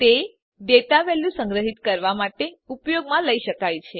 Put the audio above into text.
તે data value સંગ્રહીત કરવા માટે ઉપયોગમાં લઇ શકાય છે